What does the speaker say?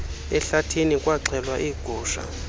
ehlathini kwaxhelwa iigusha